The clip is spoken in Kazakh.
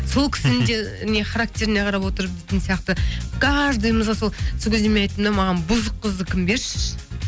сол кісінің де не характеріне қарап отырып дейтін сияқты каждыйымызға сол сол кезде айттым да маған бұзық қыздікін берші